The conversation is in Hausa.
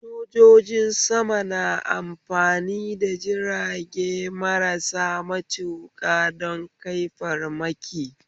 Sojoji sama na iya amfani da jirage marasa matuƙa don kai farmaki